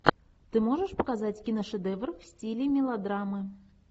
ты можешь показать киношедевр в стиле мелодрамы